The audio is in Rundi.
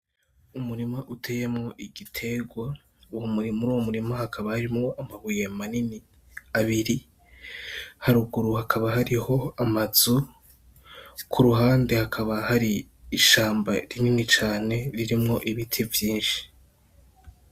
Umurima uteyemwo igiterwa, muruwo murima hakaba harimwo amabuye manini abiri , haruguru hakaba hariho amazu ku ruhande hakaba hari ishamba rinini cane ririmwo ibiti vyinshi.